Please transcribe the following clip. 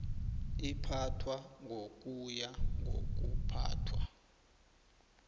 iphathwa ngokuya ngokuphathwa